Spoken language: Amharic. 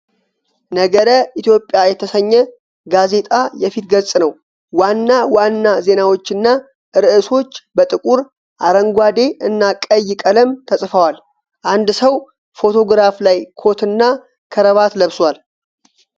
'ነገረ-ኢትዮጵያ' የተሰኘ ጋዜጣ የፊት ገጽ ነው። ዋና ዋና ዜናዎችና ርዕሶች በጥቁር፣ አረንጓዴ እና ቀይ ቀለም ተጽፈዋል። አንድ ሰው ፎቶግራፍ ላይ ኮትና ከረባት ለብሷል።